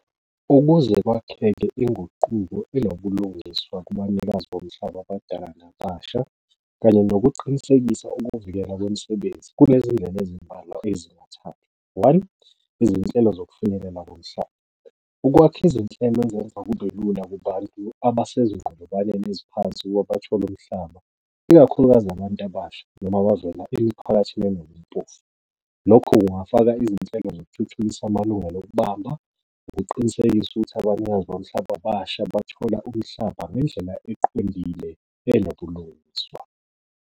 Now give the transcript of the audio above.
Ukuze kwakheke inguquko enobulungiswa kubanikazi bomhlaba abadala nabasha kanye nokuqinisekisa ukuvikela kwemisebenzi, kunezindlela ezimbalwa ezingathathilwa. One, izinhlelo zokufinyelela komhlaba, ukwakha izinhlelo ezenza kube lula kubantu abasezinqolobaneni eziphansi ukuba bathole umhlaba, ikakhulukazi abantu abasha noma abavela emiphakathini . Lokhu kungafaka izinhlelo zokuthuthukisa amalungelo okubamba, ukuqinisekisa ukuthi abanikazi bomhlaba abasha bathola umhlaba ngendlela eqondile enobulungiswa.